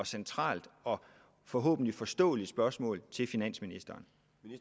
centralt og forhåbentlig forståeligt spørgsmål til finansministeren